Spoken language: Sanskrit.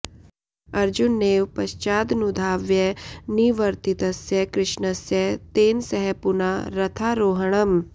अर्जुनेन पश्चादनुधाव्य निवर्तितस्य कृष्णस्य तेन सह पुना रथारोहणम्